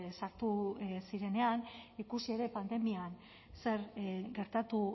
sartu zirenean ikusi ere pandemian zer gertatu